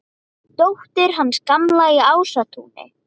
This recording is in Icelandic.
Dóttir hans Gamla í Ásatúni!